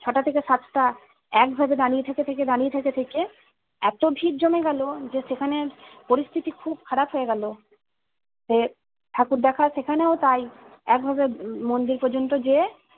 ছটা থেকে সাতটা একভাবে দাঁড়িয়ে থেকে থেকে দাঁড়িয়ে থেকে থেকে এত ভিড় জমে গেলো যে সেখানে পরিস্থিতি খুব খারাপ হয়ে গেলো ঠাকুর দেখা সেখানেও তাই একভাবে মন্দির পযন্ত যেয়ে